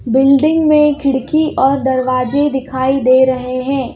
Building में खिड़की और दरवाजे दिखाई दे रहे हैं।